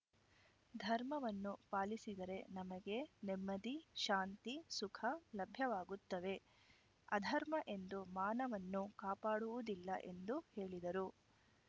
ಧರ್ಮವನ್ನು ಪಾಲಿಸಿದರೆ ನಮಗೆ ನೆಮ್ಮದಿ ಶಾಂತಿ ಸುಖ ಲಭ್ಯವಾಗುತ್ತವೆ ಅಧರ್ಮ ಎಂದೂ ಮಾನವನ್ನು ಕಾಪಾಡುವುದಿಲ್ಲ ಎಂದು ಹೇಳಿದರು